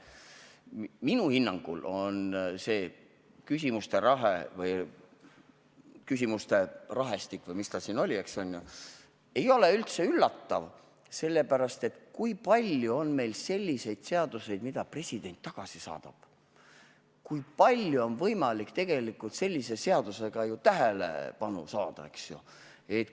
Minu hinnangul ei ole see küsimuste rahe üldse üllatav, sellepärast et kui palju meil siis ikka on selliseid seadusi, mille president tagasi saadab, ja kui palju on tegelikult võimalik sellise seadusega tähelepanu saada.